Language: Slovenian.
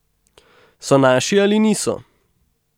So naši ali niso?